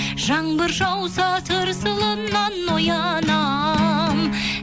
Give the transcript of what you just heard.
жаңбыр жауса тырсылынан оянам